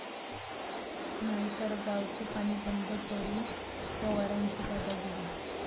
...नाहीतर गावचं पाणी बंद करू, पवारांची दादागिरी